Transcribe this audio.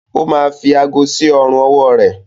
ó ma fi aago sí ọrùn-ọwọ́ rẹ.